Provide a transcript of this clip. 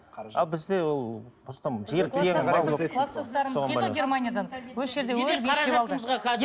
а бізде кластастарым келді германиядан